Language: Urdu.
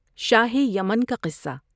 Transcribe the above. شاہ یمن کا قصہ